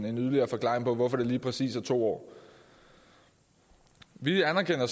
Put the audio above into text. en yderligere forklaring på hvorfor det lige præcis er to år vi anerkender